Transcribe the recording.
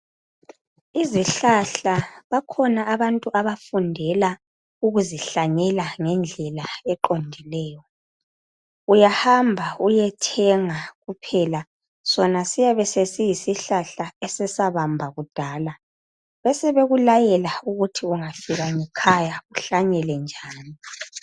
Izihlahla bakhona abantu abafundela ukuzihlanyela ngendlela eqondileyo uyahamba uyethenga kuphela sona siyabe sesiyisihlahla esesabamba kudala, besebekulayela ukuthi ungafika ngekhaya uhlanyele njani.